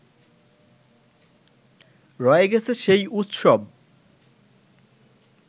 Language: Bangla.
রয়ে গেছে সেই উৎসব